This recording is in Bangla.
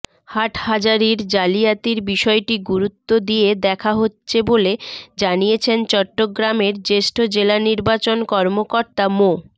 হাটহাজারির জালিয়াতির বিষয়টি গুরুত্ব দিয়ে দেখা হচ্ছে বলে জানিয়েছেন চট্টগ্রামের জ্যেষ্ঠ জেলা নির্বাচন কর্মকর্তা মো